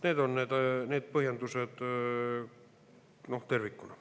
Need on need põhjendused tervikuna.